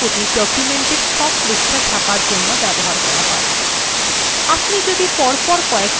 all pages বিকল্পটি document সব পৃষ্ঠা ছাপার জন্য ব্যবহার করা হয়